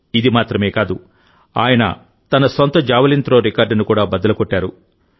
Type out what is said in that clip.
ఇది మాత్రమే కాదు ఆయన తన సొంత జావెలిన్ త్రో రికార్డును కూడా బద్దలు కొట్టారు